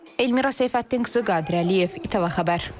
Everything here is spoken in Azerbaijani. Elmira Seyfəddinqızı, Qadir Əliyev, ATV xəbər.